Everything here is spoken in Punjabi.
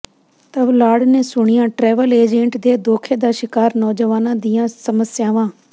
ਤਵਲਾੜ ਨੇ ਸੁਣੀਆਂ ਟਰੈਵਲ ਏਜੰਟ ਦੇ ਧੋਖੇ ਦਾ ਸ਼ਿਕਾਰ ਨੌਜਵਾਨਾਂ ਦੀਆਂ ਸਮੱਸਿਆਵਾਂ